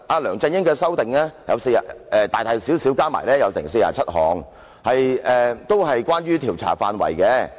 梁振英作出大大小小的修改共47項，都與調查範圍有關。